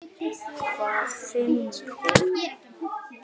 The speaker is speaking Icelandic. Hvar vinnur hún?